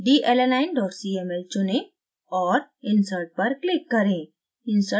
dalanine cml चुनें और insert पर click करें